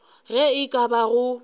ge e ka ba go